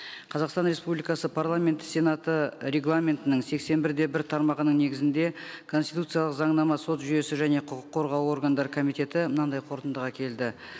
қазақстан республикасы парламенті сенаты регламентінің сексен бір де бір тармағының негізінде конституциялық заңнама сот жүйесі және құқық қорғау органдары комитеті мынандай қорытындыға келді